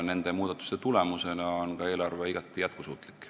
Nende muudatuste tulemusena on ka eelarve igati jätkusuutlik.